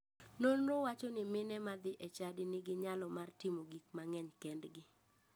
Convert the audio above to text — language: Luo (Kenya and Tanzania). Nonro wacho ni mine madhi e chadi nigi nyalo mar timo gik mang'eny kendgi.